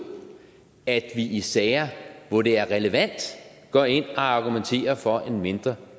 at vi i sager hvor det er relevant går ind og argumenterer for en mindre